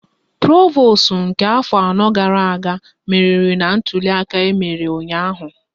Provosu nke afọ anọ gara aga meriri na ntuliaka emere ụnyaahụ